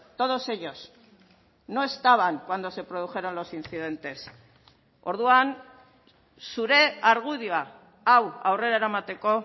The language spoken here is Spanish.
todos ellos no estaban cuando se produjeron los incidentes orduan zure argudioa hau aurrera eramateko